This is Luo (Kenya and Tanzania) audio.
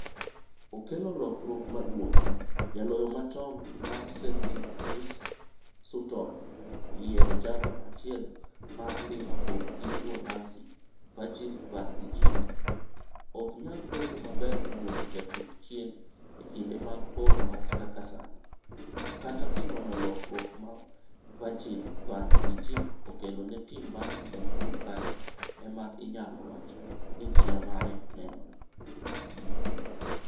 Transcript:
Okelo lokruok maduong'' Jaloyo machon mar Celtic Chris Sutton oyiero jago chiel mar Liverpool gi Uholanzi Virgil van Dijk "ok nyal bedo maber luongo jatug chien e kinde mag poro wach kaka sani, to kata kinono lokruok ma Virgil van Dijk okelo ne tim mar Liverpool kanyo ema inyalo wacho ni chia mare nenore.